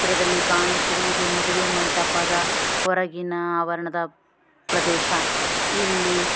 ಚಿತ್ರದಲ್ಲಿ ಕಾಣುತ್ತಿರುವುದು ಮದುವೆ ಮಂಟಪದ ಹೊರಗಿನ ಆವರಣದ ಪ್ರದೇಶ ಇಲ್ಲಿ.